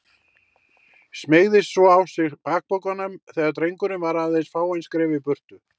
Smeygði svo á sig bakpokanum þegar drengurinn var aðeins fáein skref í burtu.